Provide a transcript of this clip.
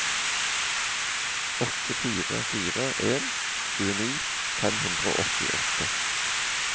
åtte fire fire en tjueni fem hundre og åttiåtte